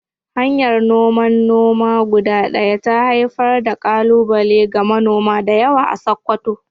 Hanyar noman noma guda ɗaya ta haifar da ƙalubale ga manoma da yawa a Sakkwato.